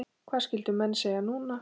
Hvað skyldu menn segja núna?